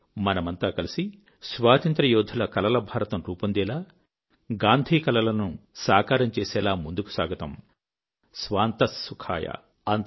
రండి మనమంతా కలిసి స్వాతంత్ర్య యోధుల కలల భారతం రూపొందేలా గాంధీ కలలను సాకారం చేసేలా ముందుకు సాగుదాం స్వాంతః సుఖాయ